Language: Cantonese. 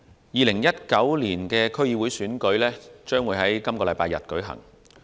2019年區議會選舉將於本星期日舉行。